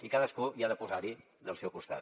i cadascú ha de posar hi del seu costat